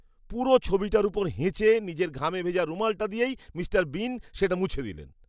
পুরো ছবিটার ওপর হেঁচে নিজের ঘামে ভেজা রুমালটা দিয়েই মিস্টার বিন সেটা মুছে দিলেন।